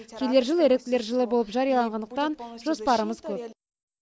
келер жыл еріктілер жылы болып жарияланғандықтан жоспарымыз көп